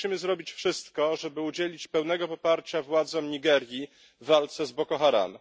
My musimy zrobić wszystko, żeby udzielić pełnego poparcia władzom Nigerii w walce z Boko Haram.